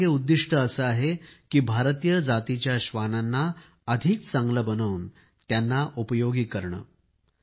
यामागे उद्दिष्ट असे आहे की भारतीय जातीच्या श्वानांना अधिक चांगले बनवून त्यांना उपयोगी करणे